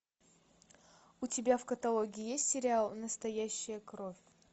у тебя в каталоге есть сериал настоящая кровь